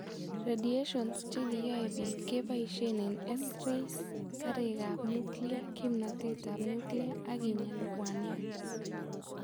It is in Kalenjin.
Radiations chekiyoe biik keboisien eng' X rays, kariikab nuclear, kimnatet ab nuclear ak kinya lubwaniat